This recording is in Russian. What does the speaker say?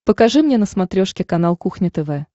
покажи мне на смотрешке канал кухня тв